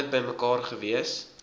altyd bymekaar gewees